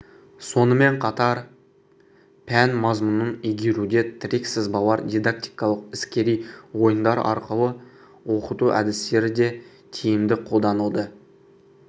сонымен қатар пән мазмұнын игеруде тірек-сызбалар дидактикалық іскери ойындар арқылы оқыту әдістері де тиімді қолданылды